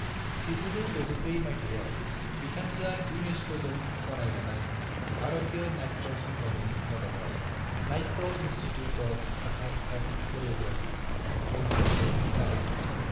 1964 मायथाइयाव बिथांजोआ यूनेस्को जों गनायजानाय भारतीय नाट्य संघनि मददाव Natya institute of Kathak and choreography, बैंगलोरखौ जागाय जेनदों मोन।